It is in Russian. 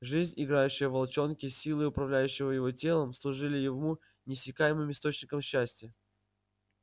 жизнь играющая в волчонке силы управляющие его телом служили ему неиссякаемым источником счастья